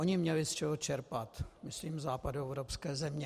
Ony měly z čeho čerpat, myslím západoevropské země.